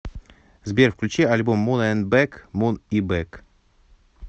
сбер включи альбом мун энд бэк мун и бэк